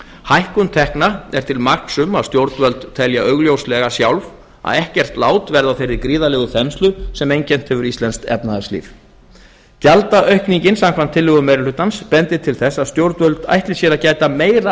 hækkun tekna er til marks um að stjórnvöld telja augljóslega sjálf að ekkert lát verði á þeirri gríðarlegu þenslu sem einkennt hefur íslensk efnahagslíf gjaldaaukningin samkvæmt tillögum meiri hlutans bendir til þess að stjórnvöld ætli sér að gæta meira